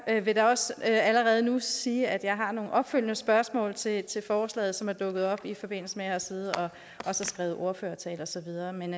jeg vil da også allerede nu sige at jeg har nogle opfølgende spørgsmål til til forslaget som er dukket op i forbindelse med at jeg har siddet og skrevet ordførertale og så videre men